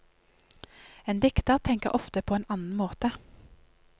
En dikter tenker ofte på en annen måte.